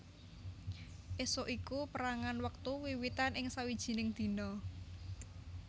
Ésuk iku pérangan wektu wiwitan ing sawijining dina